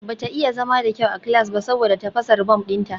Bata iya zama da kyau a class ba saboda tafasar bom dinta